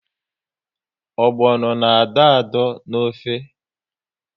Ogbono na adọ adọ n'ofe